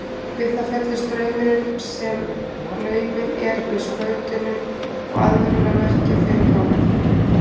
Við það fellur straumurinn sem numinn er með skautunum og aðvörunarmerki fer í gang.